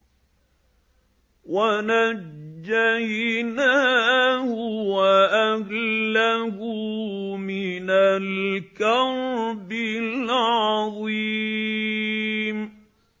وَنَجَّيْنَاهُ وَأَهْلَهُ مِنَ الْكَرْبِ الْعَظِيمِ